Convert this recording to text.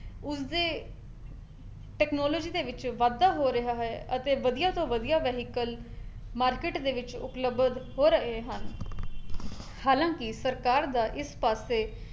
ਉਸਦੇ technology ਦੇ ਵਿੱਚ ਵਾਧਾ ਹੋ ਰਿਹਾ ਹੈ ਅਤੇ ਵਧੀਆ ਤੋਂ ਵਧੀਆ vehicle ਮਾਰਕੀਟ ਵਿੱਚ ਉਪਲੱਬਧ ਹੋ ਰਹੇ ਹਨ ਹਾਲਾਂਕਿ ਸਰਕਾਰ ਦਾ ਇਸ ਪਾਸੇ